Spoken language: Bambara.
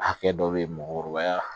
Hakɛ dɔ bɛ yen mɔgɔkɔrɔbaya